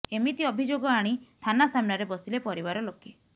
ଏମିତି ଅଭିଯୋଗ ଆଣି ଥାନା ସାମ୍ନାରେ ବସିଲେ ପରିବାର ଲୋକେ